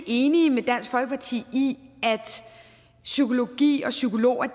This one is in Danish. enig med dansk folkeparti i at psykologi og psykologer